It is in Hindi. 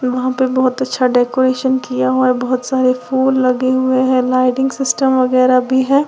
वहां पे बहुत अच्छा डेकोरेशन किया हुआ है बहुत सारे फूल लगे हुए हैं लाइटिंग सिस्टम वगैरा भी हैं।